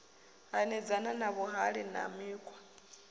hanedzana na vhuhali na mikhwa